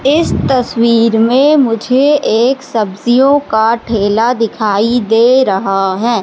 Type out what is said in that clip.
इस तस्वीर में मुझे एक सब्जियों का ठेला दिखाई दे रहा है।